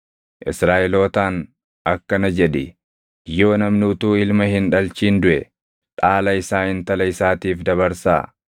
“Israaʼelootaan akkana jedhi; ‘Yoo namni utuu ilma hin dhalchin duʼe, dhaala isaa intala isaatiif dabarsaa.